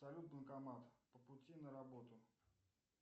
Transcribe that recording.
салют банкомат по пути на работу